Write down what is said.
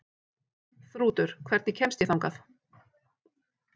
Þrútur, hvernig kemst ég þangað?